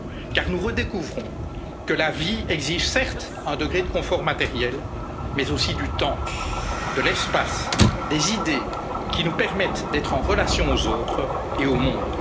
à court terme. Car nous redécouvrons que la vie exige, certes, un degré de confort matériel mais aussi du temps, de l'espace, des idées qui nous permettent d'être en relation aux autres